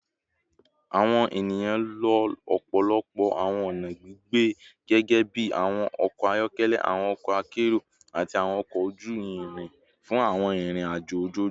Awọn eniyan lo ọpọlọpọ awọn ọna gbigbe gẹgẹbi awọn ọkọ ayọkẹlẹ, awọn ọkọ akero, ati awọn ọkọ oju irin fun awọn irin-ajo ojoojumọ